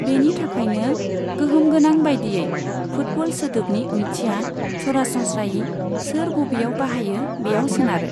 बेनि थाखायनो, गोहोम गोनां बायदियै, फुटबल सोदोबनि ओंथिया सरासनस्रायै सोर बबेयाव बाहायो बेयाव सोनारो।